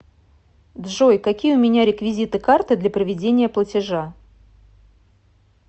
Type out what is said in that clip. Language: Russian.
джой какие у меня реквизиты карты для проведения платежа